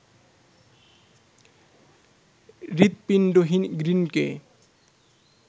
হৃদপিণ্ডহীন গ্রিনকে